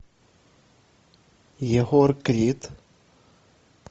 егор крид